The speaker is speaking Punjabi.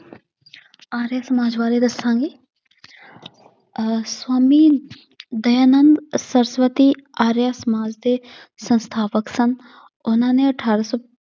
ਆਰੀਆ ਸਮਾਜ ਬਾਰੇ ਦੱਸਾਂਗੀ ਅਹ ਸਵਾਮੀ ਦਯਾਨੰਦ ਸਰਸਵਤੀ ਆਰਿਆ ਸਮਾਜ ਦੇ ਸੰਸਥਾਪਕ ਸਨ ਉਹਨਾਂ ਨੇ ਅਠਾਰਾਂ ਸੌ